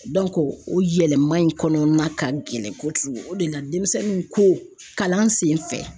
o yɛlɛma in kɔnɔna ka gɛlɛn kojugu o de la denmisɛnninw ko kalan senfɛ